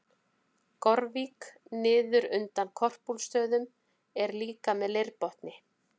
Gorvík niður undan Korpúlfsstöðum er líka með leirbotni.